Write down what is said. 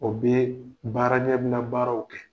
O be baara ɲɛbila baaraw kɛ.